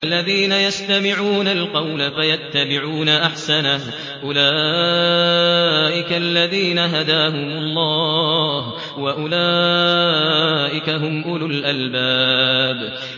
الَّذِينَ يَسْتَمِعُونَ الْقَوْلَ فَيَتَّبِعُونَ أَحْسَنَهُ ۚ أُولَٰئِكَ الَّذِينَ هَدَاهُمُ اللَّهُ ۖ وَأُولَٰئِكَ هُمْ أُولُو الْأَلْبَابِ